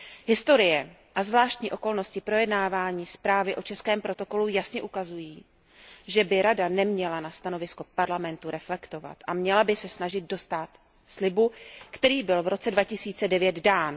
Historie a zvláštní okolnosti projednávání zprávy o českém protokolu jasně ukazují, že by Rada neměla na stanovisko Parlamentu reflektovat a měla by se snažit dostát slibu, který byl v roce 2009 dán.